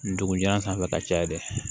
Ndugun jalan sanfɛ ka caya dɛ